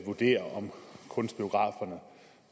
vurdere om kunstbiograferne